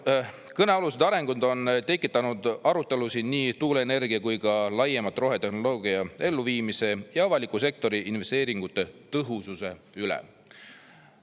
Kõnealused arengud on tekitanud arutelusid nii tuuleenergia kui ka laiemalt rohetehnoloogia elluviimise ja avaliku sektori investeeringute tõhususe üle.